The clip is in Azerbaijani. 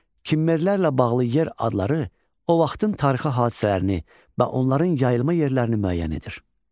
Kimmerlərlə bağlı yer adları o vaxtın tarixi hadisələrini və onların yayılma yerlərini müəyyən edir.